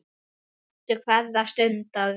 Njóttu hverrar stundar vel.